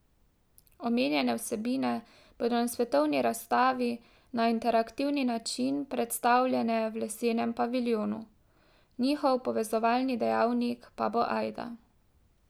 Omenjene vsebine bodo na svetovni razstavi na interaktivni način predstavljene v lesenem paviljonu, njihov povezovalni dejavnik pa bo ajda.